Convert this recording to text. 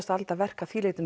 aldar verk að því leyti